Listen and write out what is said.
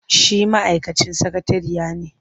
Shi ma'aikacin sakatariya ne.